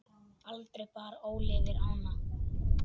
Aldrei bar Óli yfir ána.